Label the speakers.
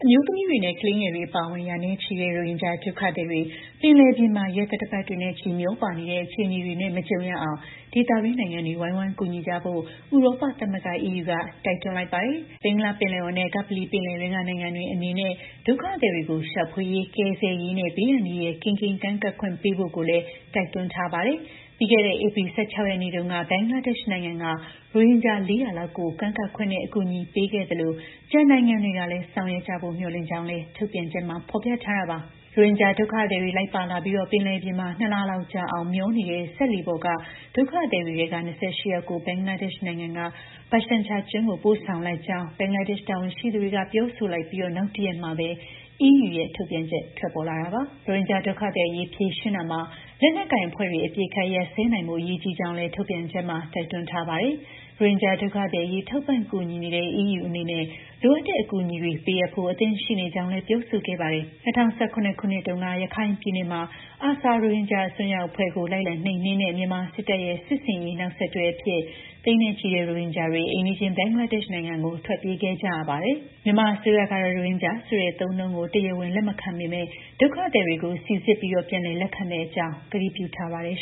Speaker 1: မျိုးသမီးတွေနဲ့ ကလေးငယ်တွေ အပါအဝင် ရာနဲ့ချီတဲ့ ရိုဟင်ဂျာဒုက္ခသည်တွေ ပင်လယ်ပြင်မှာ ရက်သတ္တပတ်တွေနဲ့ချီ မျောပါနေတဲ့ အခြေအနေတွေနဲ့ မကြုံရအောင် ဒေသတွင်းနိုင်ငံတွေ ဝိုင်းဝန်းကူညီကြဖို့ ဥရောပသမဂ္ဂ (EU) က တိုက်တွန်းလိုက်ပါတယ်။ ဘင်္ဂလားပင်လယ်အော်နဲ့ ကပ္ပလီပင်လယ်တွင်းက နိုင်ငံတွေအနေနဲ့ ဒုက္ခသည်တွေကို ရှာဖွေရေး၊ ကယ်ဆယ်ရေးနဲ့ ဘေးအန္တရာယ်ကင်းကင်း ကမ်းကပ်ခွင့်ပေးဖို့လည်း တိုက်တွန်းထားပါတယ်။ ပြီးခဲ့တဲ့ ဧပြီလ ၁၆ ရက်နေ့တုန်းက ဘင်္ဂလားဒေ့ရှ်နိုင်ငံက ရိုဟင်ဂျာ ၄၀၀ လောက်ကို ကမ်းကပ်ခွင့်နဲ့ အကူအညီပေးခဲ့သလို ကျန်နိုင်ငံတွေကလည်း ဆောင်ရွက်ကြဖို့ မျှော်လင့်ကြောင်းလည်း ထုတ်ပြန်ချက်မှာ ဖော်ပြထားတာပါ။ ရိုဟင်ဂျာဒုက္ခသည်တွေ လိုက်ပါလာပြီး ပင်လယ်ပြင်မှာ ၂ လလောက်ကြာ မျောနေတဲ့ စက်လှေပေါ်က ဒုက္ခသည်တွေထဲက ၂၈ ယောက်ကို ဘင်္ဂလားဒေ့ရှ်နိုင်ငံက ဘာရှန်ချာကျွန်းကို ပို့ဆောင်လိုက်ကြောင်း ဘင်္ဂလားဒေ့ရှ်တာဝန်ရှိသူတွေက ပြောဆိုလိုက်ပြီး နောက်တရက်မှာပဲ EU ရဲ့ ထုတ်ပြန်ချက် ထွက်ပေါ်လာတာပါ။ ရိုဟင်ဂျာ ဒုက္ခသည်အရေး ဖြေရှင်းရာမှာ လက်နက်ကိုင် အဖွဲ့တွေ အပစ်အခတ်ရပ်စဲနိုင်ဖို့ အရေးကြီးကြောင်းလည်း ထုတ်ပြန်ချက်မှာ တိုက်တွန်းထားပါတယ်။ ရိုဟင်ဂျာဒုက္ခသည်အရေး ထောက်ပံ့ကူညီနေတဲ့ EU အနေနဲ့ လိုအပ်တဲ့ အကူအညီတွေပေးအပ်ဖို့ အသင့်ရှိနေကြောင်းလည်း ပြောဆိုခဲ့တာပါ။ ၂၀၁၇ ထဲတုန်းက ရခိုင်ပြည်နယ်မှာ ARSA ရိုဟင်ဂျာ အစွန်းရောက်အဖွဲ့ကို လိုက်လံနှိမ်နင်းတဲ့ မြန်မာစစ်တပ်ရဲ့ စစ်ဆင်ရေးတွေ နောက်ဆက်တွဲအဖြစ် သိန်းနဲ့ချီတဲ့ ရိုဟင်ဂျာတွေ အိမ်နီးချင်း ဘင်္ဂလားဒေ့ရှ်နိုင်ငံကို ထွက်ပြေးခဲ့ကြတာပါ။ မြန်မာအစိုးရကတော့ ရိုဟင်ဂျာဆိုတဲ့ အသုံးအနှုန်းကို တရားဝင်လက်မခံပေမဲ့ ဒုက္ခသည်တွေကို စိစစ်ပြီး ပြန်လည်လက်ခံမယ့်အကြောင်း ကတိပြုထားပါတယ်